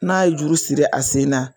N'a ye juru siri a sen na.